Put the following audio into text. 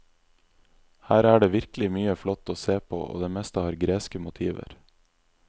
Her er det virkelig mye flott og se på og det meste har greske motiver.